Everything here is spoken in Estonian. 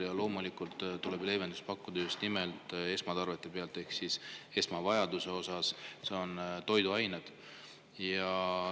Ja loomulikult tuleb leevendust pakkuda just nimelt esmavajaduste täitmiseks, esmatarvete ostmiseks, mille hulka kuuluvad ka toiduained.